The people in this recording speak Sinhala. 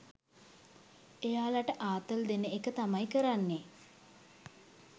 එයාලට ආතල් දෙන එක තමයි කරන්නෙ